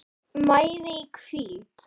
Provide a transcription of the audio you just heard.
mæði í hvíld